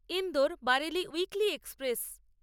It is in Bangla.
Indore Bareilly weekly express